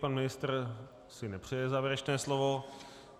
Pan ministr si nepřeje závěrečné slovo.